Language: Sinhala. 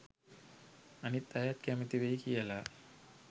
අනිත් අයත් කැමති වෙයි කියලා